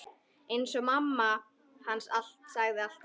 Eins og mamma sagði alltaf.